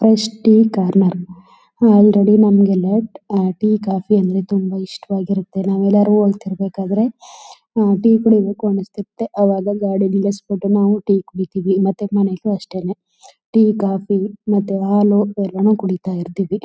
Fresh tea corner already ನಮಗೆ ಎಲ್ಲ tea coffee ಅಂದ್ರೆ ತುಂಬ ಇಷ್ಟವಾಗಿರುತ್ತೆ. ನಾವು ಎಲ್ಲರೂ ಹೋಗ್ತಿರ್ಬೇಕು ಆದ್ರೆ ಟೀ ಕುಡಿಬೇಕು ಅನ್ಸುತ್ತೆ ಅವಾಗ ಗಾಡಿ ನೀಳ್ಸ್ಬಿಟ್ಟು ನಾವು ಟೀ ಕುಡಿತೀವಿ ಮತ್ತೆ ಮನೇಲಿ ಅಷ್ಟೇನೆ ಟೀ ಕಾಫಿ ಮತ್ತೆ ಹಾಲು ಎಲ್ಲಾನು ಕುಡಿತ ಇರ್ತೀವಿ.